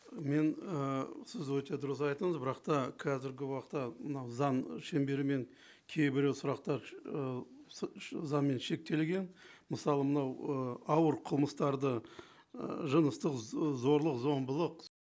мен ы сіз өте дұрыс айттыңыз бірақ та қазіргі уақытта мынау заң шеңберімен кейбір сұрақтар ы заңмен шектелген мысалы мынау ы ауыр қылмыстарды ы жыныстық зорлық зомбылық